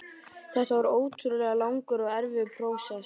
Þetta var ótrúlega langur og erfiður prósess.